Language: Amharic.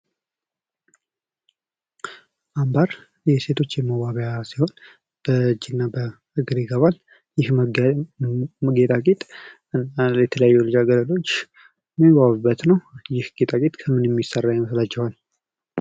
አምባር የሴቶች የመዋቢያ ሲሆን ፤ በእጅ እና እግር ይገባል። ይህም ጌጣጌጥ የተለያዩ ልጃገረዶች የሚዋቡበት ነው። ይህ ጌጣጌጥ ከምን የሚሰራ ይመስላችኋል?